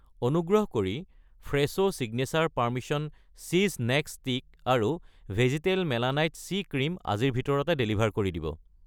অনুগ্ৰহ কৰি fresco signature parmesan cheese snack stick আৰু ভেজীতেল মেলানাইট-চি ক্ৰীম আজিৰ ভিতৰতে ডেলিভাৰ কৰি দিব।